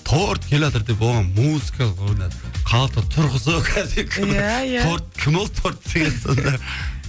торт келатыр деп оған музыка ойнатып халықты тұрғызып иә иә кім ол торт деген сонда